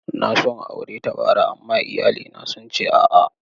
Na so in aure ta bara, amma iyalina sun ce a'a.